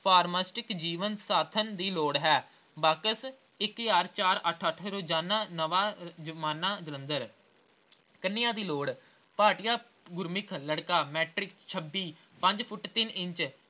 pharmaceutic ਜੀਵਨ ਸਾਥਣ ਦੀ ਲੋੜ ਹੈ। ਬਾਕਸ ਇੱਕ ਹਜ਼ਾਰ ਚਾਰ ਅੱਠ ਅੱਠ ਰੋਜ਼ਾਨਾ ਨਵਾਂ ਅਹ ਜ਼ਮਾਨਾ ਜਲੰਧਰ ਕੰਨਿਆ ਦੀ ਲੋੜ ਭਾਟਿਆ ਗੁਰਸਿੱਖ ਲੜਕਾ matric ਛੱਬੀ, ਪੰਜ ਫੁੱਟ ਤਿੰਨ ਇੰਚ